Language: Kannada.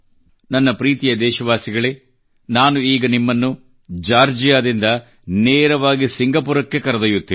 ನನ್ನ ಪ್ರೀತಿಯ ದೇಶವಾಸಿಗಳೆ ನಾನು ಈಗ ನಿಮ್ಮನ್ನು ಜಾರ್ಜಿಯಾದಿಂದ ನೇರವಾಗಿ ಸಿಂಗಪುರಕ್ಕೆ ಕರೆದೊಯ್ಯುತ್ತೇನೆ